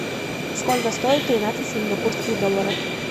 сколько стоит тринадцать сингапурских долларов